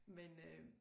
Men øh